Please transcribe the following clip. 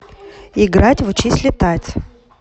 играть в учись летать